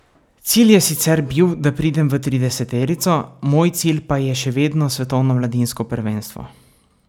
Cilj je sicer bil, da pridem v trideseterico, moj cilj pa je še vedno svetovno mladinsko prvenstvo.